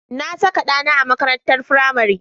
Na saka ɗana a makarantar firamare.